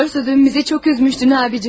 Doğrusu dünən bizi çox üzdün abicim.